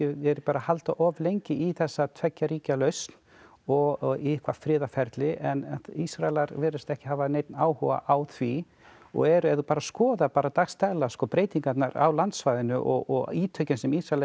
haldið of lengi í þessa tveggja ríkja lausn og í eitthvað friðarferli en Ísraelar virðast ekki hafa neinn áhuga á því og eru ef þú bara skoðar dags daglega breytingarnar á landsvæðinu og ítökin sem Ísraelar